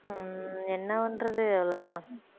உம் என்ன பண்றது அவ்வளவுதான்